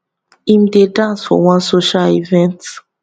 im dey dance for one social event